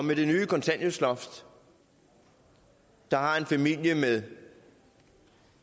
med det nye kontanthjælpsloft har en familie med